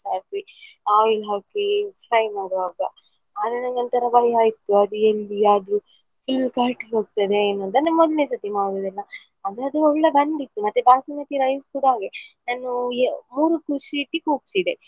ಜಾಸ್ತಿ oil ಹಾಕಿ fry ಮಾಡುವಾಗ ಆದ್ರೆ ನಂಗೆ ಒಂತರ ಭಯ ಆಯ್ತು ಅದು ಎಲ್ಲಿ ಅದು full ಹೋಗ್ತದೆ ಏನೋ ಮೊದ್ಲ್ನೆಸರ್ತಿ ಮಾಡುದಲ್ಲಾ ಹಾಗಾದ್ರೆ ಒಳ್ಳೆ ಬಂದಿತು ಮತ್ತೆ basmati rice ಕೂಡ ಹಾಗೆ ನಾನು ಮೂರು .